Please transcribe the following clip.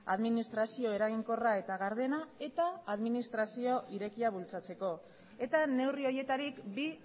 administrazio eraginkorra eta gardena eta administrazio irekia bultzatzeko eta neurri horietarik bi